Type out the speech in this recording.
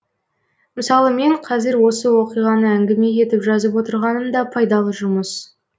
мысалы мен қазір осы оқиғаны әңгіме етіп жазып отырғаным да пайдалы жұмыс